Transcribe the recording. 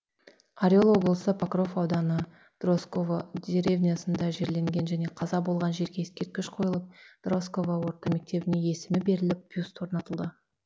орел облысы покров ауданы дросково деревнясында жерленген және қаза болған жерге ескерткіш қойылып дросково орта мектебіне есімі беріліп бюст орнатылды